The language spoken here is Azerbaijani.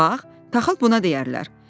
Bax, taxıl buna deyərlər.